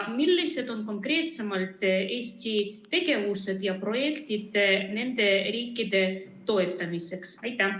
Millised on konkreetsemalt Eesti tegevused ja projektid nende riikide toetamiseks?